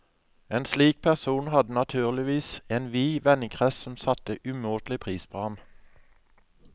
En slik person hadde naturligvis en vid vennekrets som satte umåtelig pris på ham.